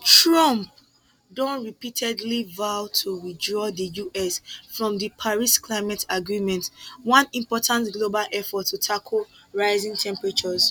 trump don repeatedly vow to withdraw di us from di paris climate agreement one important global effort to tackle rising temperatures